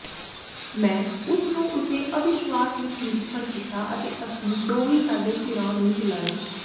ਮੈਂ ਉਸ ਨੂੰ ਉਸੇ ਅਵਿਸ਼ਵਾਸ ਵਿਚ ਨਿਰੀਖਣ ਕੀਤਾ ਅਤੇ ਅਸੀਂ ਦੋਵੇਂ ਸਾਡੇ ਸਿਰਾਂ ਨੂੰ ਹਿਲਾਏ